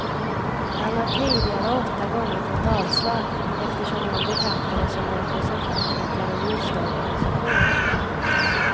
Han har tidigare åtta gånger fått avslag eftersom han betraktades som representant för en terroristorganisation.